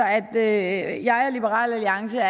at jeg og liberal alliance